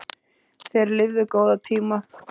Þeir lifðu góða tíma.